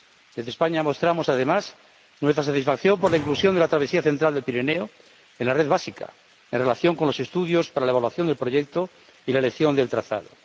Desde España mostramos, además, nuestra satisfacción por la inclusión de la travesía central del Pirineo en la red principal, en relación con los estudios para la evaluación del proyecto y la elección del trazado.